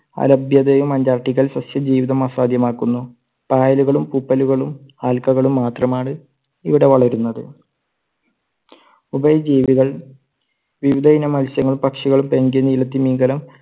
അലഭ്യതയും അന്റാർട്ടിക്കയിൽ സസ്യജീവിതം അസാധ്യമാക്കുന്നു. പായലുകളും, പൂപ്പലുകളും, ആൽക്കകളും മാത്രമാണ് ഇവിടെ വളരുന്നത്. ഉഭയ ജീവികൾ വിവിധ ഇനം മത്സ്യങ്ങളും, പക്ഷികളും, പെൻഗ്വിൻ, നീല തിമിംഗലം